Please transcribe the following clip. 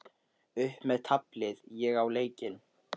Upp með taflið, ég á leikinn!